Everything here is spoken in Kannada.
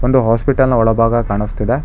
ಒಂದು ಹಾಸ್ಪಿಟಲ್ ನ ಒಳಭಾಗ ಕಾಣಸ್ತಿದೆ.